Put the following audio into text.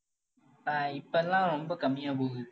ஆஹ் இப்ப எல்லாம் ரொம்ப கம்மியா போகுது.